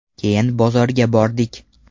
Keyin bozorga bordik.